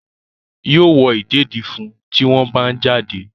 Yóò wọ ìdèdí fún un tí wọ́n bá ń jáde.